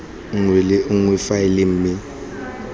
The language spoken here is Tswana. nngwe le nngwe faele mme